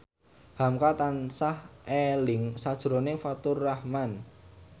hamka tansah eling sakjroning Faturrahman